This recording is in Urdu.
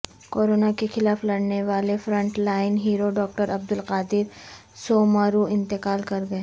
کورونا کیخلاف لڑنے والے front line hero doctor Abdul Qadir Soomro انتقال کرگئے